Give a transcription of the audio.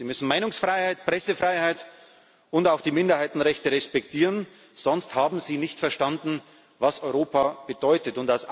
Sie müssen Meinungsfreiheit, Pressefreiheit und auch die Minderheitenrechte respektieren, sonst haben Sie nicht verstanden, was Europa bedeutet.